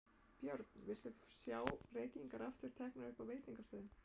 Björn: Viltu sjá reykingar aftur teknar upp á veitingastöðum?